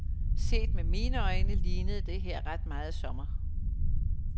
Set med mine øjne, lignede det her ret meget sommer.